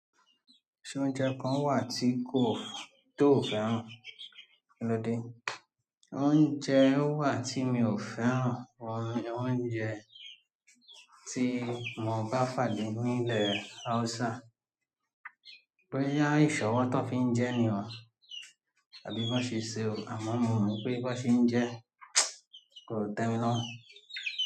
Ṣé oúnjẹ kan wà tí kò tó fẹ́ràn? Kí ló dé? Oúnjẹ wà tí mi ò fẹ́ràn, àwọn oúnjẹ tí mo bá fàdí nínú ilẹ̀ Hausa. Pé yá ìṣọ́ wá tí wọ́n fi ń jẹ ní o, àbí bí wọ́n ṣe se o, àmọ́ mo mọ̀ pé bí wọ́n ṣe ń jẹ kò tẹ́mi lọ́wọ́.